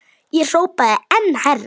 Ég hrópaði enn hærra.